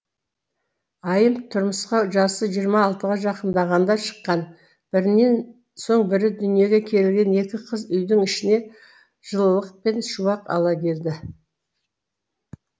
айым тұрмысқа жасы жиырма алтыға жақындағанда шыққан бірінен соң бірі дүниеге келген екі қыз үйдің ішіне жылылық пен шуақ ала келді